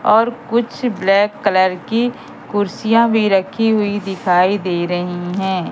और कुछ black colour की कुर्सीयां भी रखी हुई दिखाई दे रही हैं।